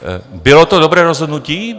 Bylo to dobré rozhodnutí?